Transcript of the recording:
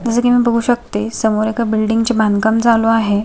जस की मी बघू शकते समोर एका बिल्डिंग चे बांधकाम चालू आहे.